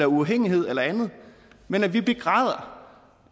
uafhængighed eller andet men at vi begræder